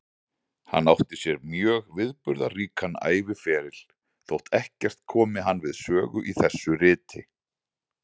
Hann átti sér mjög viðburðaríkan æviferil, þótt ekkert komi hann við sögu í þessu riti.